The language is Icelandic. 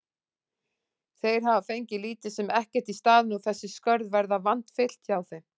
Þeir hafa fengið lítið sem ekkert í staðinn og þessi skörð verða vandfyllt hjá þeim.